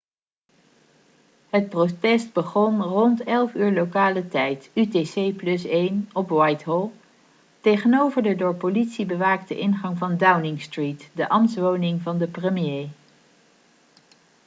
het protest begon rond 11.00 lokale tijd utc+1 op whitehall tegenover de door politie bewaakte ingang van downing street de ambtswoning van de premier